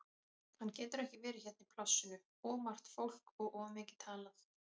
Hann getur ekki verið hérna í plássinu, of margt fólk og of mikið talað.